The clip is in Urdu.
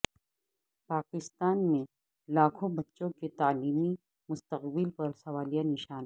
پاکستان میں لاکھوں بچوں کے تعلیمی مستقبل پر سوالیہ نشان